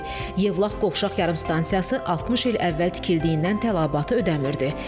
Yevlax qovşaq yarımstansiyası 60 il əvvəl tikildiyindən tələbatı ödəmir.